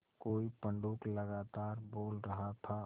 कोई पंडूक लगातार बोल रहा था